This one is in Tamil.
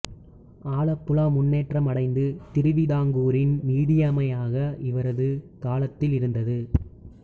ஆலப்புழா முன்னேற்றம் அடைந்து திருவிதாங்கூரின் நிதிமையமாக இவரது காலத்தில் இருந்தது